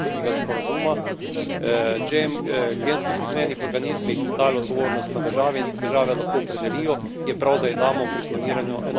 In če smo pri gensko spremenjenih organizmih dali odgovornost na države in se države lahko opredelijo, je prav, da damo pri kloniranju enoten signal iz Evrope.